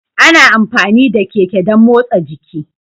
Ana amfani da Keke dan motsa jiki.